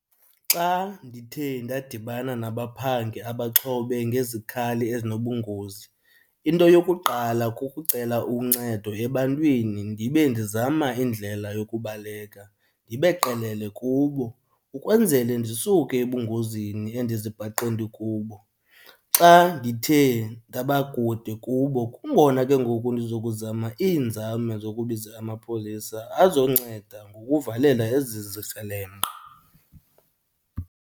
Xa ndithe ndadibana nabaphangi abaxhobe ngezikhali ezinobungozi, into yokuqala kukucela uncedo ebantwini ndibe ndizama indlela yokubaleka ndibe qelele kubo, ukwenzele ndisuke ebungozini endizibhaqe ndikubo. Xa ndithe ndaba kude kubo kungona ke ngoku ndizokuzama iinzame zokubiza amapolisa azonceda ngokuvalela ezi zikrelemnqa.